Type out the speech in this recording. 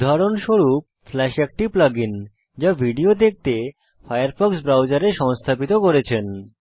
উদাহরণস্বরূপ ফ্লাশ একটি plug in যা আপনি ভিডিও দেখতে আপনার ফায়ারফক্স ব্রাউজারে সংস্থাপিত করেছেন